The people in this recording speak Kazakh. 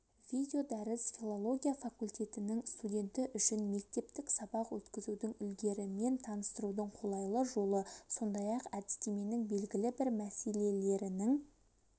видеодәріс филология факультетінің студенті үшін мектептік сабақ өткізудің үлгілерімен таныстырудың қолайлы жолы сондай-ақ әдістеменің белгілі бір мәселелерінің